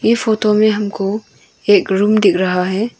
ये फोटो में हमको एक रूम दिख रहा हैं।